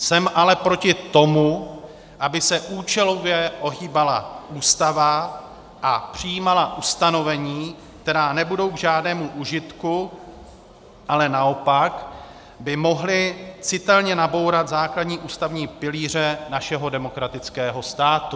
Jsem ale proti tomu, aby se účelově ohýbala Ústava a přijímala ustanovení, která nebudou k žádnému užitku, ale naopak by mohla citelně nabourat základní ústavní pilíře našeho demokratického státu.